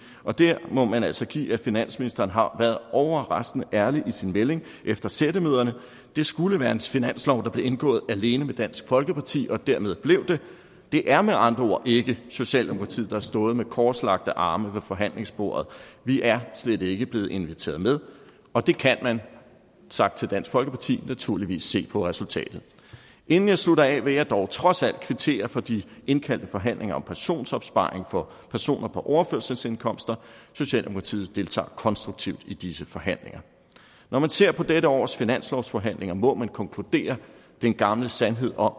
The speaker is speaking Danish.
og der må man altså give finansministeren har været overraskende ærlig i sin melding efter sættemøderne det skulle være en finanslov der blev indgået alene med dansk folkeparti og derved blev det det er med andre ord ikke socialdemokratiet der har stået med korslagte arme ved forhandlingsbordet vi er slet ikke blevet inviteret med og det kan man sagt til dansk folkeparti naturligvis se på resultatet inden jeg slutter af vil jeg dog trods alt kvittere for de indkaldte forhandlinger om pensionsopsparing for personer på overførselsindkomst socialdemokratiet deltager konstruktivt i disse forhandlinger når man ser på dette års finanslovsforhandlinger må man konkludere den gamle sandhed om